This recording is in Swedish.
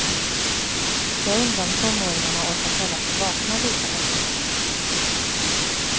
Jag undrar om tonåringarna orkat hålla sig vakna lika länge.